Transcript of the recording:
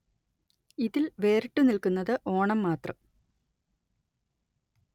ഇതില്‍ വേറിട്ടു നില്‍ക്കുന്നത് ഓണം മാത്രം